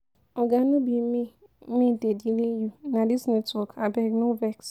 Oga no be me dey me dey delay you, na dis network. Abeg no vex.